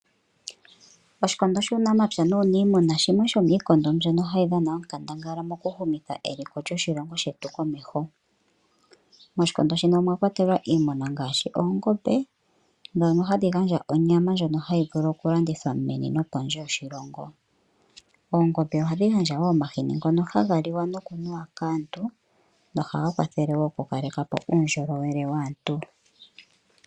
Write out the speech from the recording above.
Oshikondo shuunamapya nuunimuna shimwe shomiikondo mbyono hayi dhana onkandangala mokuhumitha eliko lyoshilongo shetu komeho. Moshikondo shino omwakwatelwa iimuna ngaashi oongombe ndhono hadhi gandja onyama ndjono hayi vulu okulandithwa meni nopondje yoshilongo. Oongombe ohadhi gandja wo omahini ngono haga liwa nokunuwa kaantu nohaga kwathele wo okukaleka po uundjolowele waantu.